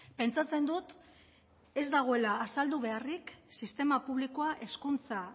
pentsatzen dut ez dagoela azaldu beharrik sistema publikoa hezkuntza